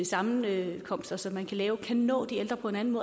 sammenkomster som man kan lave kan nå de ældre på en anden